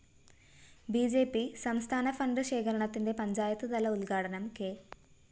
B J P സംസ്ഥാന fund ശേഖരണത്തിന്റെ പഞ്ചായത്ത്തല ഉദ്ഘാടനം കെ